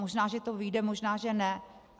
Možná že to vyjde, možná že ne.